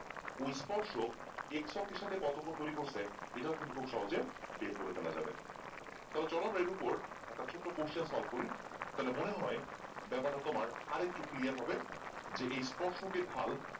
ওই স্পর্শক এর সাথে কত কোন তৈরি করছে এটাও কিন্তু খুব সহজে বের করে ফেলা যাবে তাহলে চলো আমার এর ওপর একটা ছোট্ট question solve করি তাহলে মনেহয় ব্যাপারটা তোমার আর একটু clear হবে যে এই স্পর্শকে ঢাল